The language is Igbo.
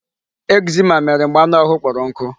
Eczema mere mgbe anụ ahụ kpọrọ nkụ.